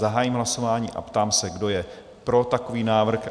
Zahajuji hlasování a ptám se, kdo je pro takový návrh?